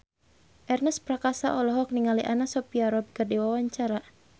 Ernest Prakasa olohok ningali Anna Sophia Robb keur diwawancara